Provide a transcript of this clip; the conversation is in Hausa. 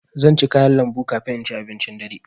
Zan ci kayan lambu kafin in ci abincin dare.